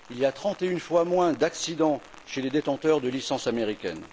Il y a 31 fois moins d'accidents chez les détenteurs de licence américaine.